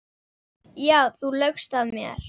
Já, þú laugst að mér.